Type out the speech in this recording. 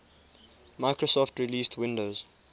microsoft released windows